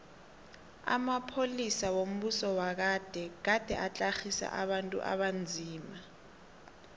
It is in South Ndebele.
amapolisa wombuso wagade gade atlagisa abantu abanzima